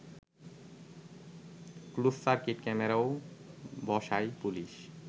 closed circuit ক্যামেরাও বসায় police